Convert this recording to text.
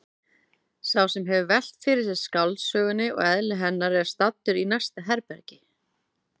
Sá sem hefur velt fyrir sér skáldsögunni og eðli hennar er staddur í næsta herbergi.